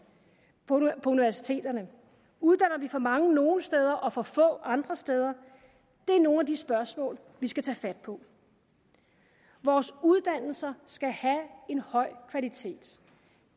på universiteterne uddanner vi for mange nogle steder og for få andre steder det er nogle af de spørgsmål vi skal tage fat på vores uddannelser skal have en høj kvalitet